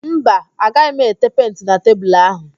Mba, agaghị m ete penti na tebulu áhụ̀